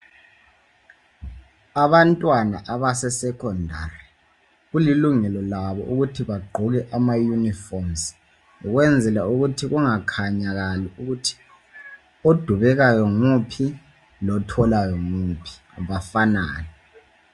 Abantwana abasesekhondari kulilungelo labo ukut bagqoke ama yunifomu ukwenzela ukut kungakhayi ukuthi odubekayo nguwup otholayo nguwuphi befanane